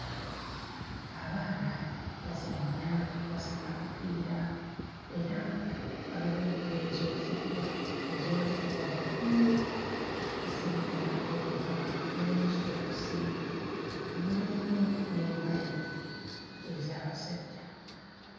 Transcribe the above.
Abaana bazannya basamba kapiira era nga waliwo engoye ezoozeddwa ne ziwanikibwa waggulu zirinda okukala mulimu sitookisi mulimu n'empale ez'abasajja.